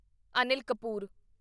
Anil Kapoor